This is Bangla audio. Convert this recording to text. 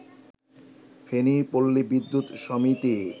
ফেনী পল্লী বিদ্যুৎ সমিতি